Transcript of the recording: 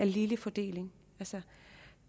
ligelig fordeling